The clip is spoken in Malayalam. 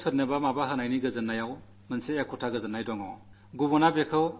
എന്റെ പ്രിയപ്പെട്ട ദേശവാസികളേ ജീവിതത്തിൽ കൊടുക്കുന്നതിന് ഒരു വിശേഷാൽ ആനന്ദമാണുള്ളത്